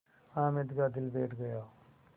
हामिद का दिल बैठ गया